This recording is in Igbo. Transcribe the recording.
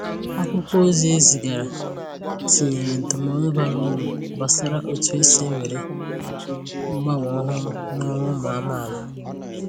Akwụkwọ ozi e zigaara tinyèrè ndụmọdụ bara uru gbasàra otu esi ewere mgbanwe ọhụrụ n’ọrụ ụmụ amaala.